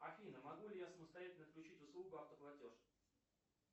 афина могу ли я самостоятельно отключить услугу автоплатеж